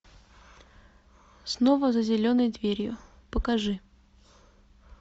снова за зеленой дверью покажи